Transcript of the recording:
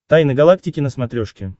тайны галактики на смотрешке